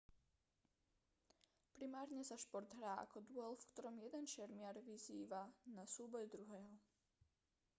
primárne sa šport hrá ako duel v ktorom jeden šermiar vyzýva na súboj druhého